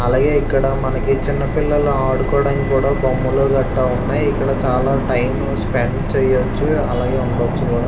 అలాగే ఇక్కడ చిన్న పిల్లలు ఆడుకోడానికి బొమ్మలు గట్టా ఉన్నాయ్. అలాగే ఇక్కడ చాలా టైమ్ స్పెండ్ చెయ్యచ్చు అలాగే ఉండచ్చు కూడా --